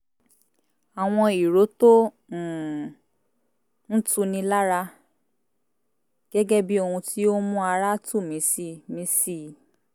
àwọn ìró tó um ń tu ni lára gẹ́gẹ́ bí i ohun tí ó ń mú ara tù mí si mí si i